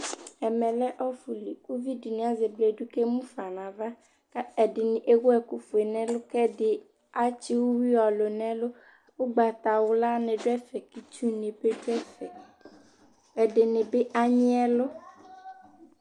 ɛmɛ lɛ ɔfu li uvi di ni azɛ bledu k'emu fa n'ava k'ɛdini ewu ɛkò fue n'ɛlu k'ɛdi atsi uwi ɔlu n'ɛlu ugbata wla ni do ɛfɛ k'itsu ni bi do ɛfɛ ɛdi ni bi anyi ɛlu